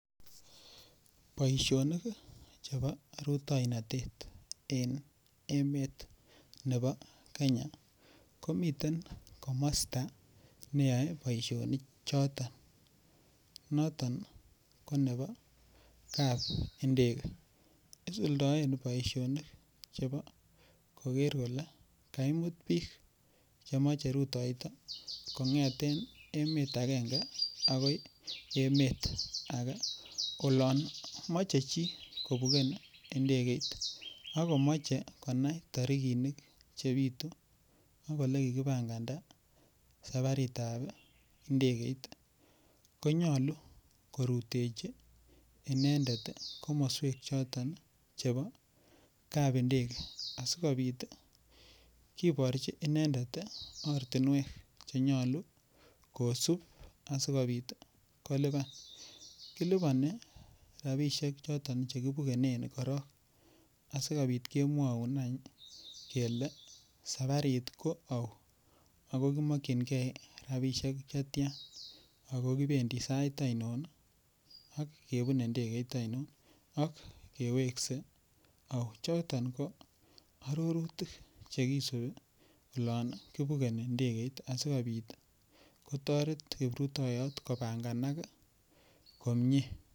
Boisinik Che bo rutoinotet en Kenya komiten komasta ne yoe boisionichoton noton ko nebo kapindege isuldoen boisionik chebo koger kole kaimut bik Che moche ruroito kongeten emet agenge agoi emet age olon mochei chi kobugen Ndegeit ak komoche konai tarikinik Che bitu kou Ole kikipanganda safaritab Ndegeit konyolu korutechi inendet komoswek choton chebo kapindege asikobit kiborchi inendet ortinwek Che nyolu kosub asi kolipan kiliponi rabisiek choton Che kibugenen korok asikobit kemwoun kele safarit ko ou ako ki mokyingei rabisiek Che tyan ako kibendi sait ainon ak kebune Ndegeit ainon ak keweksei ou choton ko arorutik Che kisubi yon kibugeni Ndegeit asikobit kotoret kiprutoyot kopanganak komie